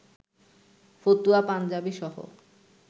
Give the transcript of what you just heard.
ফতুয়া, পাঞ্জাবিসহ